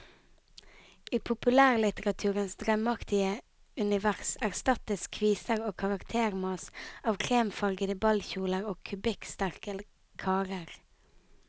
I populærlitteraturens drømmeaktige univers erstattes kviser og karaktermas av kremfargede ballkjoler og kubikksterke karer.